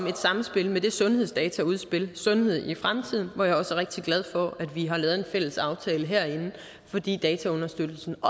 i et samspil med det sundhedsdataudspil sundhed i fremtiden hvor jeg også er rigtig glad for at vi har lavet en fælles aftale herinde fordi dataunderstøttelsen